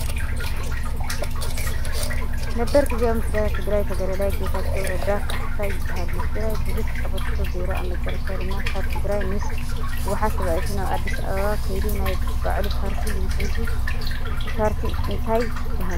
ነበር ጊዚያዊ ምምሕዳር ትግራይ ተጋዳላይ ጌታቸው ረዳ ካሕሳይ ይባሃል ። ንትግራይ ብዙሕ ኣብርክቶ ገይሩ ኣብ መጨረሻ ድማ ካብ ትግራይ ምስ ሕውሓት ተባኢሱ ናብ ኣዲስ ኣበባ ከይዱ ናይ ባዕሉ ፓርቲ መስሪቱ እታ ፓርቲ እንታይ ትባሃል ?